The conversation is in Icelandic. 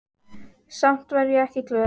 Samt var ég ekki glöð.